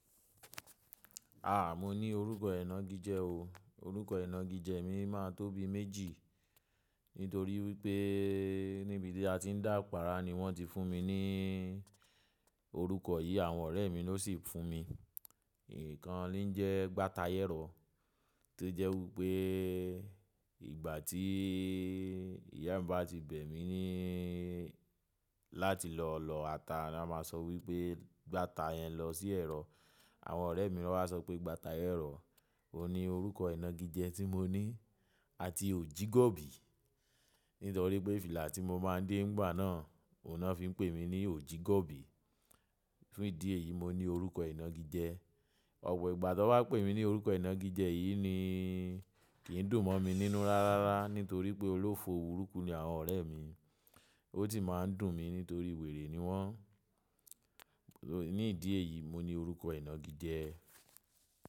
Aà, mo ní orúkọ ẹnà gidi jẹ o. Orúkọ ẹnà gidi jẹ mi máa tóbi méjì. Nítorí pé níbi tí a ti ń dàpàárá ni wọ́n ti fún mi ní orúkọ yìí. Àwọn ọ̀rẹ́ mi ló sì fún mi. Ìkan ni ń jẹ́ Gbátayẹ́rọ́, tó jẹ́ wí pé ìgbà tí ìyá mi bá ti bẹ̀ mí ní láti lọ ọ̀lọ̀ ata, a máa sọ wí pé gbáta yẹn lọ sí ẹ̀rọ. Àwọn ọ̀rẹ́ mi ló wá sọ pé Gbátayẹ́rọ́. Ó ní orúkọ ẹnà gidi jẹ tí mo ní àti Ojígọ́bì. Nítorí pé fìlà tí mo máa ń dé ńgbà náà, òun náà fi ń pè mí ní Ojígọ́bì. Fún ìdí èyí mo ní orúkọ ẹnà gidi jẹ. Ọ̀pọ̀ ìgbà tó bá pè mí ní orúkọ ẹnà gidi jẹ yìí ni kì ń dùn mọ́ mi nínú rárá. Nítorí pé olówó burúkú ni àwọn ọ̀rẹ́ mi. Ó sì máa ń dùn mí nítorí wèrè ni wọ́n. Ní ìdí èyí mo ní orúkọ ẹnà gidi jẹ.